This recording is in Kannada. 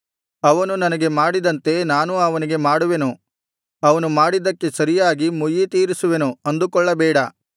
ಅವನು ನನಗೆ ಮಾಡಿದಂತೆ ನಾನೂ ಅವನಿಗೆ ಮಾಡುವೆನು ಅವನು ಮಾಡಿದ್ದಕ್ಕೆ ಸರಿಯಾಗಿ ಮುಯ್ಯಿತೀರಿಸುವೆನು ಅಂದುಕೊಳ್ಳಬೇಡ